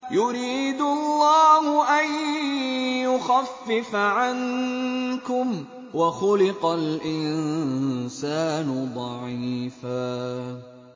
يُرِيدُ اللَّهُ أَن يُخَفِّفَ عَنكُمْ ۚ وَخُلِقَ الْإِنسَانُ ضَعِيفًا